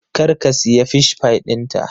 Kar ka siya Fish pie ɗinta!